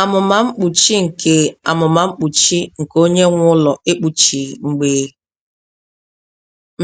Amụma mkpuchi nke Amụma mkpuchi nke onye nwe ụlọ ekpuchighị mgbe